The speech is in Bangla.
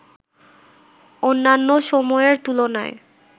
অন্যান্য সময়ের তুলনায়